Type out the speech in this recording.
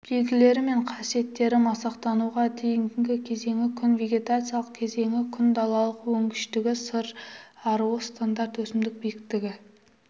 белгілері мен қасиеттері масақтануға дейінгі кезеңі күн вегетациялық кезеңі күн далалық өнгіштігі сыр аруы-стандарт өсімдік биіктігі